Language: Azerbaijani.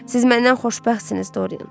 Siz məndən xoşbəxtsiniz Dorian.